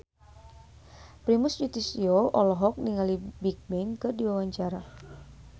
Primus Yustisio olohok ningali Bigbang keur diwawancara